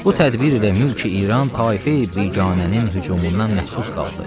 Bu tədbir ilə mülkü-İran taife-i biganənin hücumundan məhfuz qaldı.